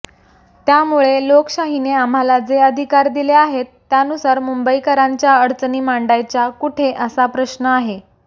त्यामुळे लोकशाहीने आम्हाला जे अधिकार दिले आहेत त्यानुसार मुंबईकरांच्या अडचणी मांडायच्या कुठे असा प्रश्न आहे